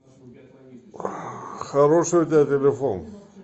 хороший у тебя телефон